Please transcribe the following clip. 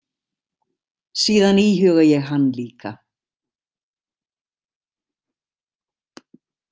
Síðan íhuga ég hann líka.